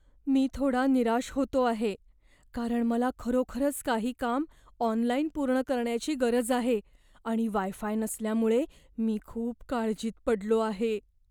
मी थोडा निराश होतो आहे कारण मला खरोखरच काही काम ऑनलाइन पूर्ण करण्याची गरज आहे, आणि वाय फाय नसल्यामुळे मी खूप काळजीत पडलो आहे.